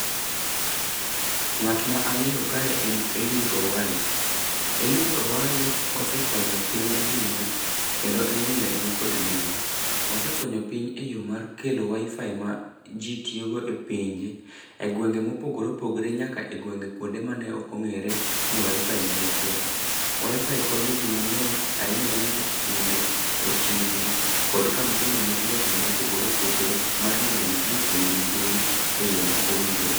Ng'at ma ang'eyo kae en Eliud Owalo. Eliud Owalo ose konyo piny ahinya kendo emomiyo en kod nengo. Osekonyo piny e yo mar kelo WiFi ma ji tiyo go e pinje, e gwenge mopogore opogore nyaka e gwenge kuonde mane okong'ere ni wifi nyalo chope. Wifi konyo ji mang'eny ahinya ahinya e skunde, e chirni, kod kampuni matindo tindo mopogore opogre mar mondo mi ji iyud mbui e yo mowinjore.